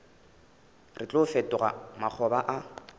re tlo fetoga makgoba a